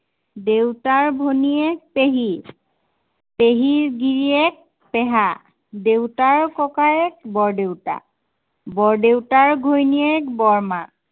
দেউতাৰ ভনীয়েক, পেহী। পেহীৰ গিৰিয়েক পেহা। দেউতাৰ ককায়েক, বৰদেউতা। বৰদেউতাৰ ঘৈণীয়েক বৰমা।